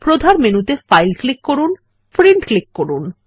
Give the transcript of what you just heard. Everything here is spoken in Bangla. প্রধান মেনুতে ফাইল ক্লিক করে প্রিন্ট ক্লিক করুন